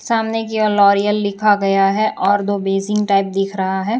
सामने की ओर लॉरिअल लिखा गया है और दो बेसिन टाइप दिख रहा है।